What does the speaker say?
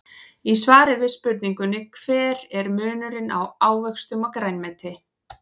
Í svari við spurningunni Hver er munurinn á ávöxtum og grænmeti?